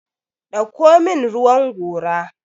dauko min ruwan gora!